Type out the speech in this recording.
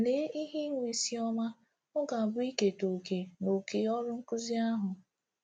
Lee ihe inwe isiọma ọ ga-abụ iketa òkè n’oké ọrụ nkụzi ihe ahụ!